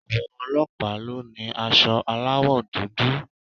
Àwọn ọlọ́pàá ló ni aṣọ aláwò dúdú